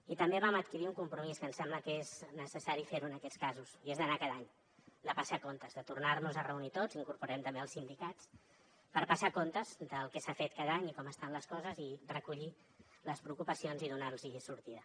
i també vam adquirir un compromís que ens sembla que és necessari fer ho en aquests casos i és d’anar hi cada any de passar comptes de tornar nos a reunir tots hi incorporem també els sindicats per passar comptes del que s’ha fet cada any i com estan les coses i recollir les preocupacions i donar hi sortida